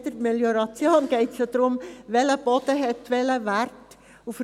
Bei jeder Melioration geht es darum, welcher Boden welcher Wert hat.